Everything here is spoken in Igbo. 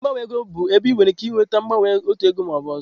Ebe gbanwe ego bụ ebe ị nwere ike ịgbanwe otu ego maka ọzọ.